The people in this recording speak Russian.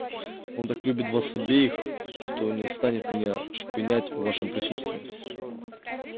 он так любит вас обеих что не станет меня шпынять в вашем присутствии